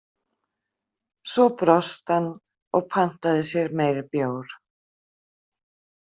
Svo brosti hann og pantaði sér meiri bjór.